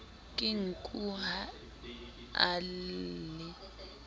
ke nku ha a lle